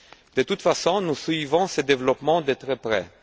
De toute façon, nous suivons ce développement de très près.